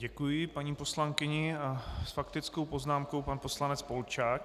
Děkuji paní poslankyni a s faktickou poznámkou pan poslanec Polčák.